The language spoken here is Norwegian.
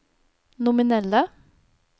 nominelle